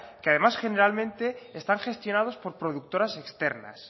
que además generalmente están gestionados por productoras externas